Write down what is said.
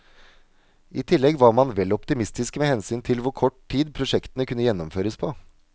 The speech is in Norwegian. I tillegg var man vel optimistiske med hensyn hvor kort tid prosjektene kunne gjennomføres på.